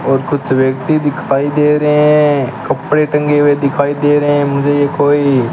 और कुछ व्यक्ति दिखाई दे रहे हैं कपड़े टंगे हुए दिखाई दे रहे हैं मुझे ये कोई।